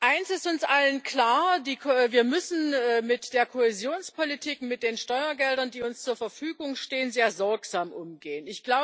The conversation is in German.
Eines ist uns allen klar Wir müssen mit der Kohäsionspolitik, mit den Steuergeldern, die uns zur Verfügung stehen, sehr sorgsam umgehen.